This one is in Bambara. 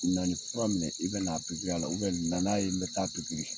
Na nin fura minɛ i bɛna nan'a ye bɛ taa